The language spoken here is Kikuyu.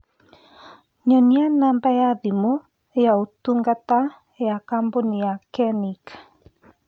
Nyonia namba ya thimũ yaũtungata ya kambũni ya kenchic